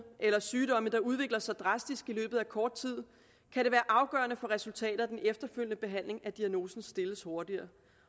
eller sygdomme der udvikler sig drastisk i løbet af kort tid kan det være afgørende for resultatet af den efterfølgende behandling at diagnosen stilles hurtigere